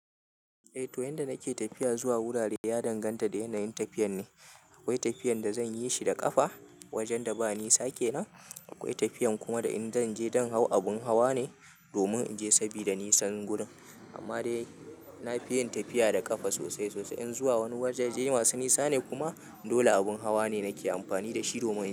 Eh to yanda nake tafiya zuwa wurare ya danganta da yanayin tafiyan ne. Akwai tafiyan da zan yi shi da ƙafa wajen da ba nisa kenan. Akwai tafiyan kuma da in zan je don hau abun hawa ne domin in je sabida nisan wurin. Amma dai na fi yin tafiya da ƙafa sosai sosai. In zuwa wani waje je yi wasu nisa ne kuma dole abun hawa ne nake amfani da shi domin in.